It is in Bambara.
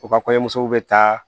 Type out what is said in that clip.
U ka kɔɲɔmuso bɛ taa